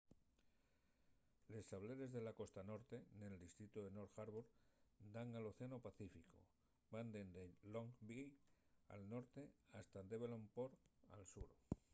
les sableres de la costa norte nel distritu de north harbour dan al océanu pacíficu; van dende long bay al norte hasta devonport al sur